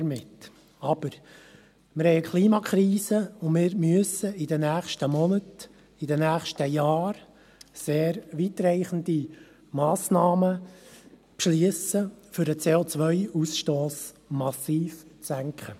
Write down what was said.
Aber: Wir haben eine Klimakrise und wir müssen in den nächsten Monaten und Jahren sehr weitreichende Massnahmen beschliessen, um den CO-Austoss massiv zu senken.